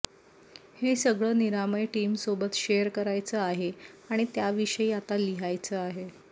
हे सगळं निरामय टीमसोबत शेअर करायचं आहे आणि त्याविषयी आता लिहायचं आहे